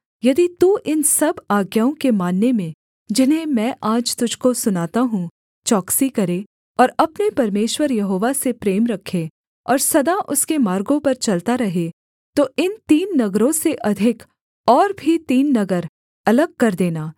यदि तू इन सब आज्ञाओं के मानने में जिन्हें मैं आज तुझको सुनाता हूँ चौकसी करे और अपने परमेश्वर यहोवा से प्रेम रखे और सदा उसके मार्गों पर चलता रहे तो इन तीन नगरों से अधिक और भी तीन नगर अलग कर देना